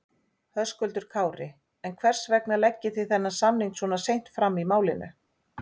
Höskuldur Kári: En hvers vegna leggið þið þennan samning svona seint fram í málinu?